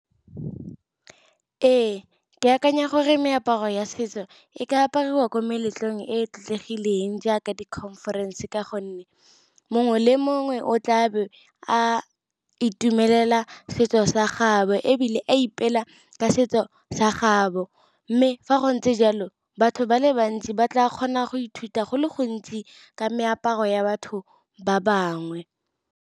Ee, ke akanya gore meaparo ya setso e ka apariwa ko meletlong e tlotlegileng jaaka di-conference. Ka gonne mongwe le mongwe o tla be a itumelela setso sa gabo. Ebile a ipela ka setso sa gabo. Mme fa go ntse jalo batho ba le bantsi ba tla kgona go ithuta go le gontsi ka meaparo ya batho ba bangwe.